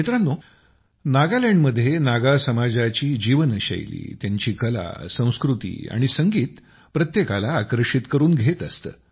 मित्रांनो नागालँडमध्ये नागा समाजाची जीवनशैली त्यांची कला संस्कृती आणि संगीत प्रत्येकाला आकर्षित करून घेत असतं